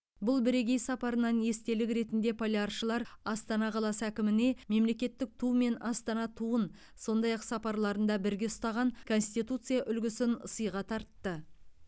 бұл бірегей сапарынан естелік ретінде поляршылар астана қаласының әкіміне мемлекеттік ту мен астана туын сондай ақ сапарларында бірге ұстаған конституция үлгісін сыйға тартты